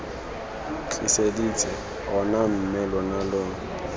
tliseditse ona mme lona lo